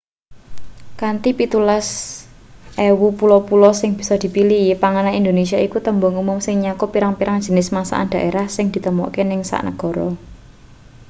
kanthi 17,000 pulo-pulo sing bisa dipilih panganan indonesia iku tembung umum sing nyakup pirang-pirang jinis masakan daerah sing ditemokake ing sak negara